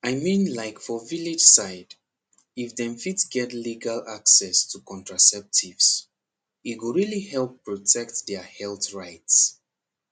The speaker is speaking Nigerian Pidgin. i mean like for village side if dem fit get legal access to contraceptives e go really help protect their health rights